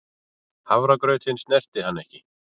Hafragrautinn snerti hann ekki.